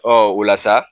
Ɔ o la sa